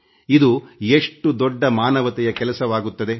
ಇದು ಎಷ್ಟು ದೊಡ್ಡ ಮಾನವತೆಯ ಕೆಲಸವಾಗುತ್ತದೆ